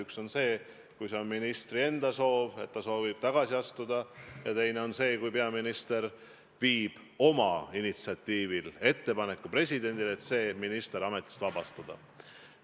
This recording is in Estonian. Üks on see, kui on minister ise soovib tagasi astuda, ja teine on see, kui peaminister viib omal initsiatiivil presidendile ettepaneku, et minister ametist vabastada.